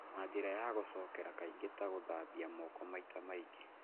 na njĩra ya gũcokera kaingĩ, ta gũthambia moko maita maingĩ.